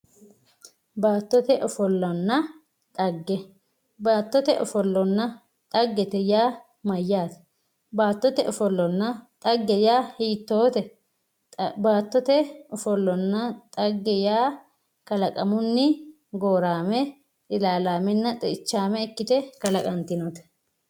baattote offolonna xagge baattote offolonna xaggete yaa mayaate baattote offolonna xagge yaa hiitoote baattote offolonna xagge yaa kalaqamunni gooraame, ilalaamenna xe"ichaame ikkite kalaqantinote.